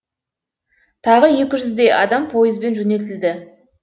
тағы екі жүздей адам пойызбен жөнелтілді